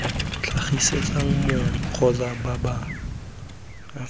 tlhagisetsang mong kgotsa bapalami kotsi